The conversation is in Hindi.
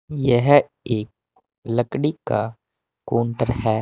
यह एक लकड़ी का काउंटर है।